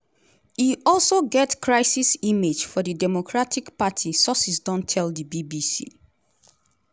e also get "crisis image” for di democratic party sources don tell di bbc.